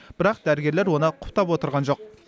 бірақ дәрігерлер оны құптап отырған жоқ